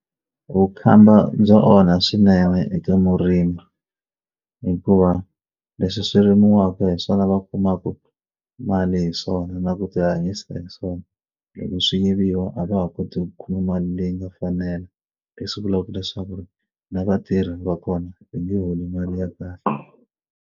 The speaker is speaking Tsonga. Vukhamba bya onha swinene eka murimi hikuva leswi swi rimiwaka hi swona va kumaka mali hi swona na ku tihanyisa hi swona loko swi yiviwa a va ha koti ku kuma mali leyi nga fanela leswi vulaka leswaku ri na vatirhi va kona va nge holi mali ya kahle.